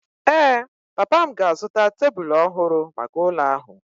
Ee, papa m ga-azụta tebụlų ọhụrụ maka ụlọ ahụ.